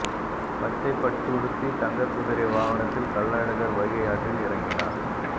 பச்சைப் பட்டுடுத்தி தங்கக்குதிரை வாகனத்தில் கள்ளழகர் வைகை ஆற்றில் இறங்கினார்